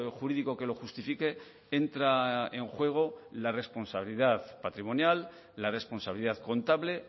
jurídico que lo justifique entra en juego la responsabilidad patrimonial la responsabilidad contable